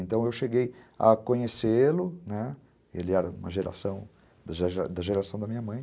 Então, eu cheguei a conhecê-lo, né, ele era uma geração, da da geração da minha mãe.